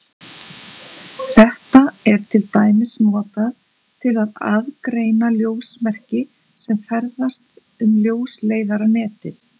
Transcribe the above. Þetta er til dæmis notað til að aðgreina ljósmerki sem ferðast um ljósleiðaranetið.